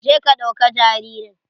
Je ka ɗauka jaririn.